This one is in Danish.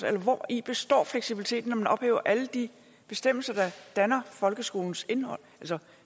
eller hvori består fleksibiliteten når man ophæver alle de bestemmelser der danner folkeskolens indhold